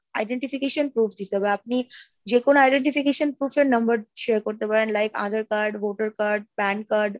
identification proof দিতে হবে, আপনি যেকোনো identification proof এর number share করতে পারেন like, Aadhaar card, voter card , PANcard